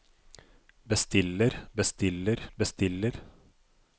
bestiller bestiller bestiller